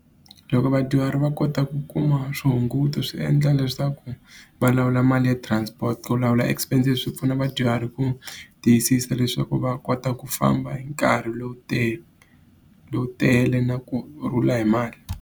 Loko vadyuhari va kota ku kuma swihunguto swi endla leswaku va lawula mali ya transport. Ku lawula expences leswi swi pfuna vadyuhari ku tiyisisa leswaku va kota ku famba hi nkarhi lowu tele lowu na kurhula hi mali.